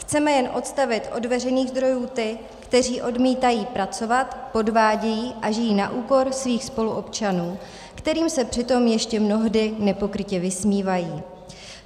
Chceme jen odstavit od veřejných zdrojů ty, kteří odmítají pracovat, podvádějí a žijí na úkor svých spoluobčanů, kterým se přitom ještě mnohdy nepokrytě vysmívají.